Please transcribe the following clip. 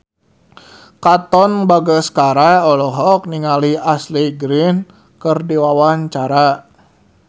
Katon Bagaskara olohok ningali Ashley Greene keur diwawancara